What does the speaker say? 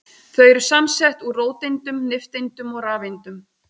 Þau eru samsett úr róteindum, nifteindum og rafeindum.